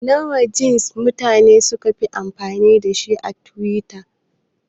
Wana jansi mutane ne sukafi amfani da twitter?